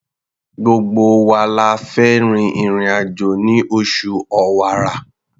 Gbogbo wa la fẹ́ rin ìrìn-àjò ní oṣù Ọ̀wàrà.